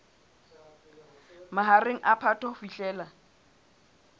mahareng a phato ho fihlela